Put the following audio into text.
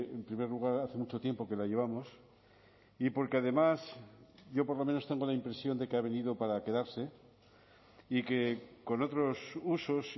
en primer lugar hace mucho tiempo que la llevamos y porque además yo por lo menos tengo la impresión de que ha venido para quedarse y que con otros usos